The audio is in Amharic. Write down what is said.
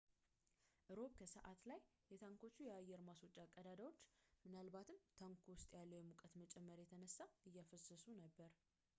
እሮብ ከሰዓት በኋላ ላይ የታንኮቹ የአየር ማስወጫ ቀዳዳዎች ምናልባትም ታንኩ ውስጥ ካለው የሙቀት መጨመር የተነሳ እያፈሰሱ ነበር